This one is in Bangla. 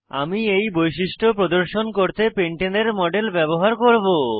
আমি এই বৈশিষ্ট্য প্রদর্শন করতে পেন্টেনের মডেল ব্যবহার করব